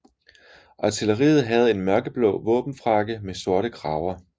Artilleriet havde en mørkeblå våbenfrakke med sorte kraver